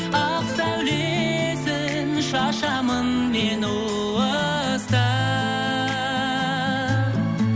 ақ сәулесін шашамын мен уыстап